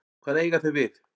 Hvað eiga þeir við?